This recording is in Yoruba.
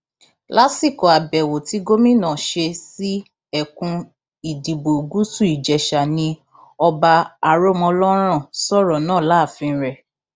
lásìkò àbẹwò tí gómìnà ṣe sí ẹkùn ìdìbò gúúsù ìjèṣà ni ọba aromọlọrán sọrọ náà láàfin rẹ